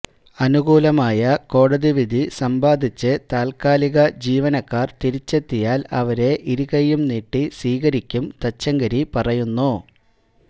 അനുകൂലമായ കോടതി വിധി സമ്പാദിച്ച് താല്ക്കാലിക ജീവനക്കാര് തിരിച്ചെത്തിയാല് അവരെ ഇരുകയ്യും നീട്ടി സ്വീകരിക്കും തച്ചങ്കരി പറയുന്നു